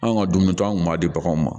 Anw ka dumuni to an kun b'a di baganw ma